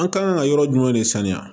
An kan ka yɔrɔ jumɛn de saniya